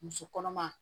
Muso kɔnɔma